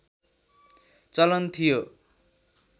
चलन थियो